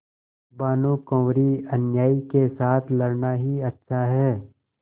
भानुकुँवरिअन्यायी के साथ लड़ना ही अच्छा है